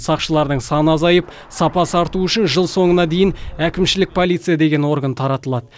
сақшылардың саны азайып сапасы артуы үшін жыл соңына дейін әкімшілік полиция деген орган таратылады